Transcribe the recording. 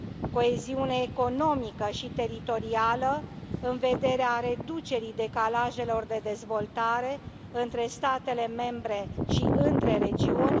coeziune economică și teritorială, în vederea reducerii decalajelor de dezvoltare între statele membre și între regiuni